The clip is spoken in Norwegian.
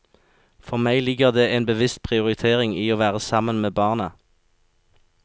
For meg ligger det en bevisst prioritering i å være sammen med barna.